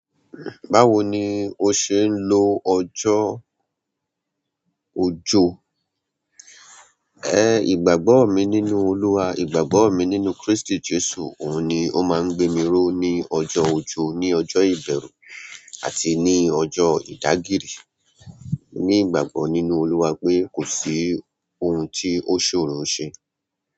Báwo ni o ṣe ń lo ọjọ́ ojó? E, ìgbàgbọ́ mi nínú Olúwa, ìgbàgbọ́ mi nínú Kristi Jesu, òun ni ó máa ń gbémiró ní ọjọ́ ojó, ní ọjọ́ ìbẹ̀rù, àti ní ọjọ́ ìdágìrí. Ní ìgbàgbọ́ nínú Olúwa pé kò sí ohun tí ó ṣòro ṣe.